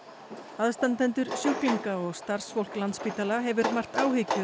aðstandendur sjúklinga og starfsfólk Landspítala hefur margt áhyggjur